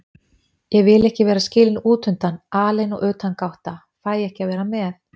Ég vil ekki vera skilin útundan, alein og utangátta, fæ ekki að vera með.